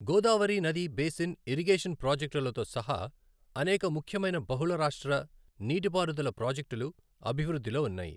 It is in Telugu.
గోదావరి నది బేసిన్ ఇరిగేషన్ ప్రాజెక్టులతో సహా అనేక ముఖ్యమైన బహుళ రాష్ట్ర నీటిపారుదల ప్రాజెక్టులు అభివృద్ధిలో ఉన్నాయి.